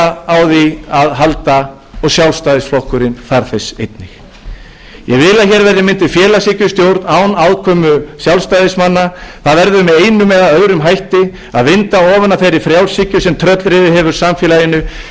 á því að halda og sjálfstæðisflokkurinn þarf þess einnig ég vil að hér verði mynduð félagshyggjustjórn án aðkomu sjálfstæðismanna það verður með einum eða öðrum hætti að vinda ofan af þeirri frjálshyggju sem tröllriðið hefur samfélaginu með tilheyrandi